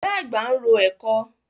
Ìyá àgbà ń ro ẹ̀kọ.